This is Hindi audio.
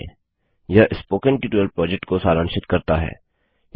httpspoken tutorialorgWhat is a Spoken Tutorial यह स्पोकन ट्यटोरियल प्रोजेक्ट को सारांशित करता है